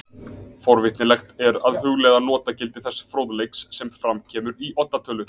Forvitnilegt er að hugleiða notagildi þess fróðleiks sem fram kemur í Odda tölu.